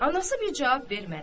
Anası bir cavab vermədi.